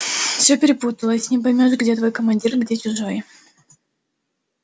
все перепуталось не поймёшь где твой командир где чужой